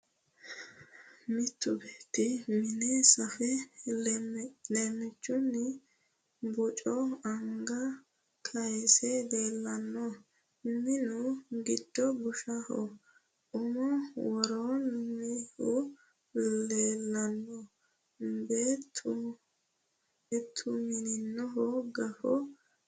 Mittu beetti mine safe leemmiichunni boco anga kayise leellanno. Minu giddo bushshu umme worroonnihu leellanno. Beettumineho gafo kaxxe heercho usaranni no.